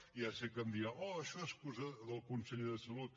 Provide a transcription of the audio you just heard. ja sé que em dirà oh això és cosa del conseller de salut